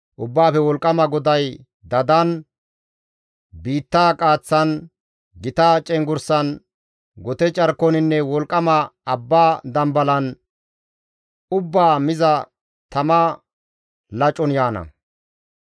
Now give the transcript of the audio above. Ubbaafe Wolqqama GODAY dadan, biittaa qaaththan, gita cenggurssan, gote carkoninne wolqqama abba dambalan ubbaa miza tama lacon yaana.